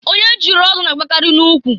Onye chiri ọzọ na-agba akarị na ụkwụ.